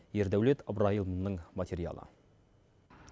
ердаулет ыбырайұлының материалы